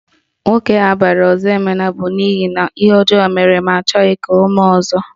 Nwoke abara Ozoemena bụ n'ihi na ihe ọjọọ mere ma achọghị ka o mee ọzọ